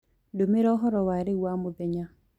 ndũmĩraũhoro wa rĩũ wa mũthenya